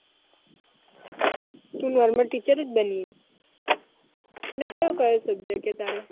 તુ normal teacher જ બની અને કયો કયો subject હતો તારે